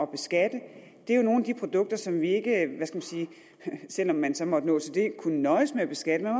beskatte er nogle af de produkter som vi ikke selv om man så måtte nå til det kan nøjes med at beskatte